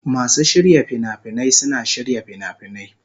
Masu shirya fina-finai suna shirya fina-finai.